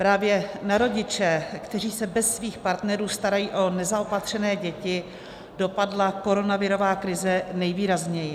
Právě na rodiče, kteří se bez svých partnerů starají o nezaopatřené děti, dopadla koronavirová krize nejvýrazněji.